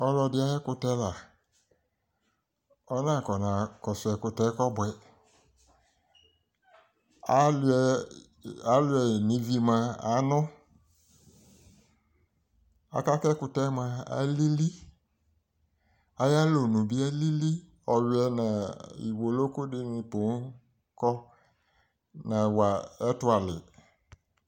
ɔlɔdi ayi ɛkotɛ la ɔna kɔna kɔso ɛkotɛ kɔboɛ aluiɛ yi no ivi moa ano aka ko ɛkotɛ moa ali li ayi alɔnu bi ali li ɔwiɛ no iwolo ko di ni ponŋ kɔ nawa ɛto ale